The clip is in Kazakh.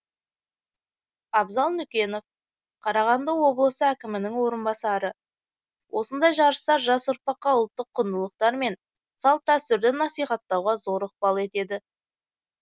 абзал нүкенов қарағанды облысы әкімінің орынбасары осындай жарыстар жас ұрпаққа ұлттық құндылықтар мен салт дәстүрді насихаттауға зор ықпал етеді